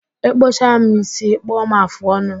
Ịkpụcha m ísí, ịkpụọ m afụ ọnụ